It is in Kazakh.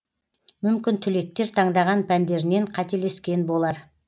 мүмкін түлектер таңдаған пәндерінен қателескен болар